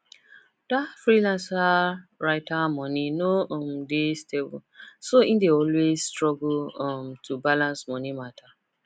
that freelance writer money no um dey stable so e dey always struggle um to balance money matter